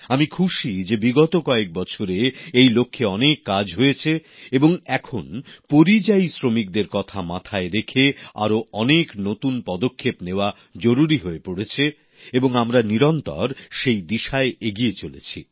আমি খুশি যে বিগত কয়েক বছরে এই লক্ষ্যে অনেক কাজ হয়েছে এবং এখন পরিযায়ী শ্রমিকদের কথা মাথায় রেখে আরও অনেক নতুন পদক্ষেপ নেওয়া জরুরি হয়ে পড়েছে এবং আমরা নিরন্তর সেই দিশায় এগিয়ে চলেছি